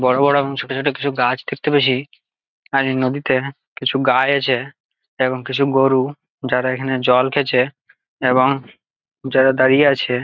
বড়ো বড়ো এবং ছোট ছোট কিছু গাছ দেখতে পেছি। আর এই নদীতে কিছু গাছ আছে এবং কিছু গরু যারা এখানে জল খেছে এবং যারা দাঁড়িয়ে আছে।